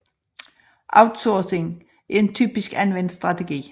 Outsourcing er en typisk anvendt strategi